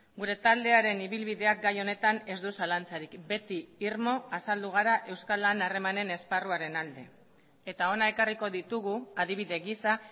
gure taldearen ibilbideak gai honetan ez du zalantzarik beti irmo azaldu gara euskal lan harremanen esparruaren alde eta hona ekarriko ditugu adibide gisa